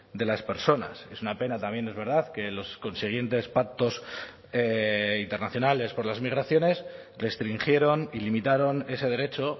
de las personas es una pena también es verdad que los consiguientes pactos internacionales por las migraciones restringieron y limitaron ese derecho